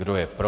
Kdo je pro?